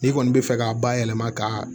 N'i kɔni bɛ fɛ k'a bayɛlɛma ka